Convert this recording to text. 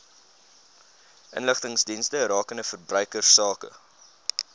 inligtingsdienste rakende verbruikersake